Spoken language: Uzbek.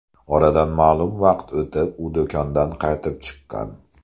Oradan ma’lum vaqt o‘tib, u do‘kondan qaytib chiqqan.